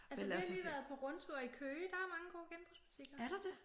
Altså vi har lige været på rundtur i Køge der er mange gode genbrugsbutikker